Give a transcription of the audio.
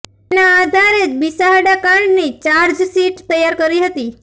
તેના આધારે જ બિસાહડા કાંડની ચાર્જશીટ તૈયાર કરી હતી